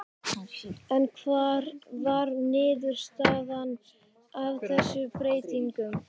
En hver var niðurstaðan af þessum breytingum?